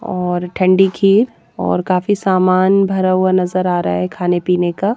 और ठंडी खीर और काफी सामान भरा हुआ नजर आ रहा हैखाने-पीने का--